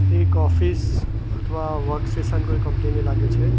એક ઓફિસ અથવા work station કોઈ કંપનીની લાગે છે.